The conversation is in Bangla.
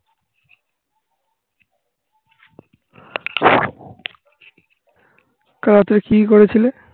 কাল রাতে কি করেছিলে?